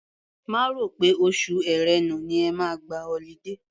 Má rò pé oṣù Ẹ̀rẹnà ni ẹ máa gba ọlidé.